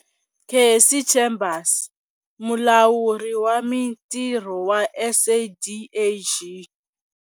Cassey Chambers, Mulawuri wa Mitirho wa SADAG.